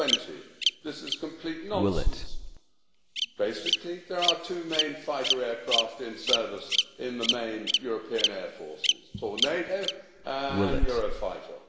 20. This is complete nonsense. Basically there are two main fighter aircraft in service in the main European Air Forces Tornado and Euro Fighter.